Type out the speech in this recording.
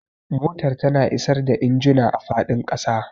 Motar tana isar da injuna a fadin kasa.